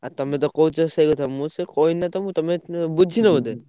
ଆଉ ତମେ ତ କହୁଛ ସେଇ କଥା ମୁଁ ସେୟା କହିଲି ନା ତମୁକୁ ତମେ ବୁଝିନ ବୋଧେ?